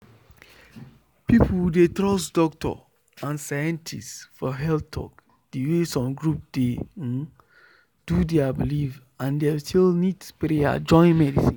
people dey trust doctor and scientist for health talk the way some group dey um do their belief and dem still need prayer join medicine.